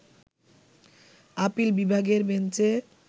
appeal বিভাগের বেঞ্চে